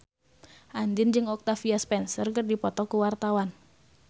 Andien jeung Octavia Spencer keur dipoto ku wartawan